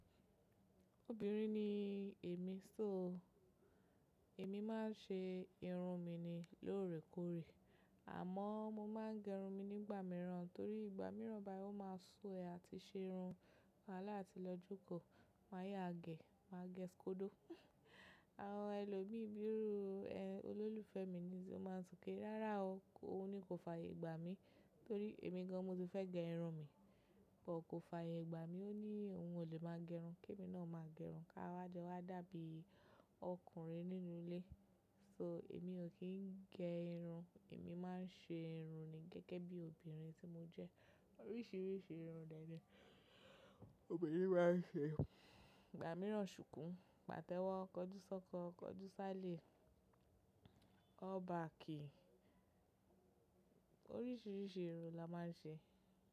Obìnrin ni èmi, so èmi máa ń ṣe irun mi ni lóòrèkóòrè. Àmọ́ mo máa ń gẹrun mi nígbà mìíràn torí ìgbà mìíràn bá yi ò máa sú ẹ àti ṣe irun wàhálà àti lọ́ jo. Máa yáa gẹẹ̀, máa gẹ skodo. Àwọn ẹlòmíì bíi olólùfẹ́ mi ni ó máa ń so pe, rárá o, ó ní kò fààyè gbà mí torí èmi gan an mo ti fẹ́ gẹ irun mi, bọ̀ kò fààyè gbà mí. Ó ní òun ò lè máa gẹrun, kí èmi náà máa gẹrun, ká wá jo wá dàbí ọkùnrin nínú ilé. So èmi ò kí ń gẹ irun, èmi máa ń ṣe irun ni gẹ́gẹ́ bí obìnrin tí mo jẹ́. Oríṣiríṣi irun dẹ́ni obìnrin máa ń ṣe. Ìgbà mìíràn ṣùkú, pàtẹ́wọ́, kọjúsọ́kọ, kọjúsálè, all back, oríṣiríṣi irun la máa ń ṣe.